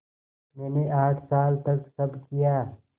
मैंने आठ साल तक सब किया